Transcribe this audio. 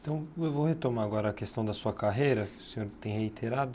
Então, eu vou retomar agora a questão da sua carreira, que o senhor tem reiterado.